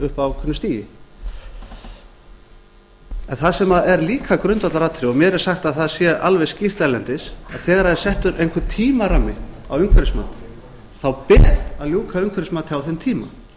upp að ákveðnu stigi það sem er líka grundvallaratriði og mér er sagt að það sé alveg skýrt erlendis að þegar það er settur einhver tímarammi á umhverfismat ber að ljúka umhverfismati á þeim tíma